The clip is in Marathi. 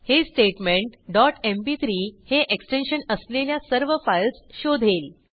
हे स्टेटमेंट डॉट एमपी3 हे एक्सटेन्शन असलेल्या सर्व फाईल्स शोधेल